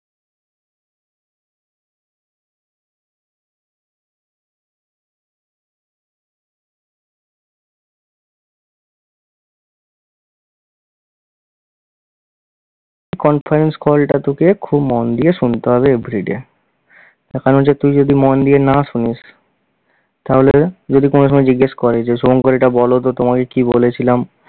conference call টা তোকে খুব মন দিয়ে শুনতে হবে everyday, তার কারণ হচ্ছে যে তুই যদি মন দিয়ে না শুনিস তাহলে যদি কোনো সময় জিজ্ঞেস করে যে শুভঙ্কর এটা বলতো তোমাকে কী বলেছিলাম?